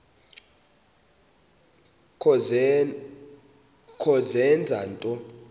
kho zenza nto